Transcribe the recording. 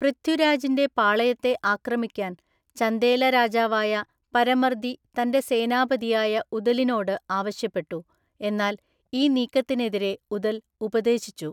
പൃഥ്വിരാജിന്റെ പാളയത്തെ ആക്രമിക്കാൻ ചന്ദേല രാജാവായ പരമർദി തന്റെ സേനാപതിയായ ഉദലിനോട് ആവശ്യപ്പെട്ടു, എന്നാൽ ഈ നീക്കത്തിനെതിരെ ഉദൽ ഉപദേശിച്ചു.